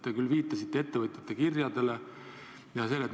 Te viitasite ettevõtjate kirjadele.